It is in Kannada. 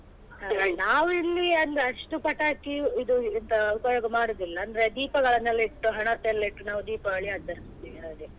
ನಾವ್ ಇಲ್ಲಿ ಅಂದ್ರೆ ಅಷ್ಟು ಪಟಾಕಿ ಇದು ಎಂತ ಉಪಯೋಗ ಮಾಡುದಿಲ್ಲ ಅಂದ್ರೆ ದೀಪಗಳನೆಲ್ಲ ಇಟ್ಟು ಹಣತೆ ಎಲ್ಲ ಇಟ್ಟು ನಾವ್ ದೀಪಾವಳಿ ಆಚರಿಸ್ತೇವೆ ಹಾಗೆ.